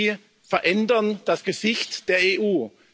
Sie verändern das Gesicht der EU.